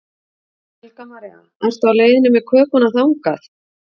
Helga María: Ertu á leiðinni með kökuna þangað?